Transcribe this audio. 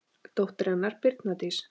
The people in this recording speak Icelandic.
Dóttir hennar: Birna Dís.